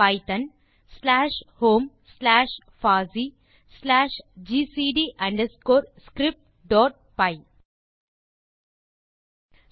Python slash home slash pasi slash GCT underscore scriptபை